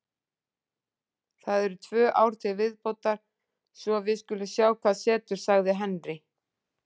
Það eru tvö ár til viðbótar svo við skulum sjá hvað setur, sagði Henry.